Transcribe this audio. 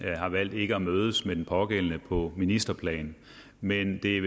har valgt ikke at mødes med den pågældende på ministerplan men det